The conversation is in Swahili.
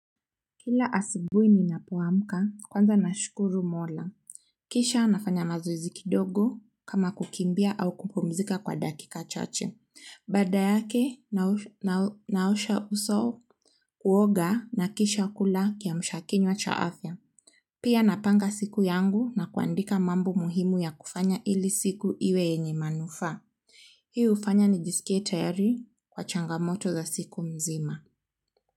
Kila asubuhi ninapo amka kwanza nashukuru mola kisha nafanya mazoezi kidogo kama kukimbia au kupumzika kwa dakika chache. Baada yake naosha uso, kuoga na kisha kula kiamsha kinywa cha afya pia napanga siku yangu na kuandika mambo muhimu ya kufanya ili siku iwe yenye manufa. Hii hufanya nijisikie tayari kwa changamoto za siku mzima.